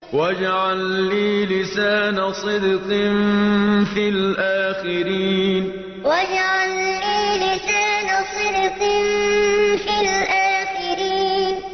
وَاجْعَل لِّي لِسَانَ صِدْقٍ فِي الْآخِرِينَ وَاجْعَل لِّي لِسَانَ صِدْقٍ فِي الْآخِرِينَ